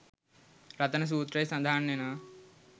රතන සූත්‍රයේ සඳහන් වෙනවා.